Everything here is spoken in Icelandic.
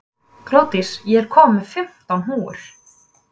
Glódís, ég kom með fimmtán húfur!